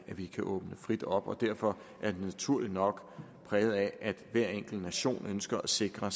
vi kan åbne frit op og derfor er det naturligt nok præget af at hver enkelt nation ønsker at sikre